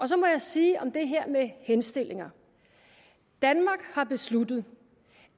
så må jeg sige om det her med henstillinger danmark har besluttet